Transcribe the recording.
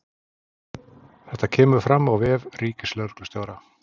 Þetta kemur fram á vef ríkislögreglustjóra